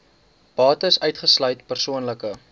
bates uitgesluit persoonlike